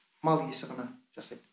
мал иесі ғана жасайды